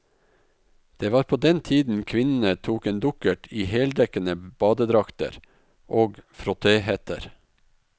Det var på den tiden kvinnene tok en dukkert i heldekkende badedrakter og frottéhetter.